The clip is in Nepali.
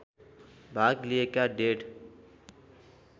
भाग लिएका डेढ